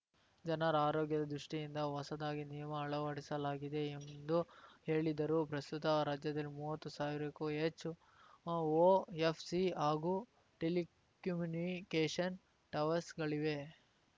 ಜನರ ಆರೋಗ್ಯದ ದೃಷ್ಟಿಯಿಂದ ಹೊಸದಾಗಿ ನಿಯಮ ಅಳವಡಿಸಲಾಗಿದೆ ಎಂದು ಹೇಳಿದರು ಪ್ರಸ್ತುತ ರಾಜ್ಯದಲ್ಲಿ ಮುವತ್ತು ಸಾವಿರಕ್ಕೂ ಹೆಚ್ಚು ಒಎಫ್‌ಸಿ ಹಾಗೂ ಟೆಲಿಕಮ್ಯುನಿಕೇಷನ್‌ ಟವರ್ಸ್‌ಗಳಿವೆ